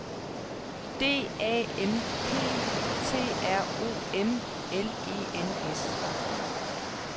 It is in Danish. D A M P T R O M L E N S